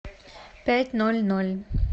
пять ноль ноль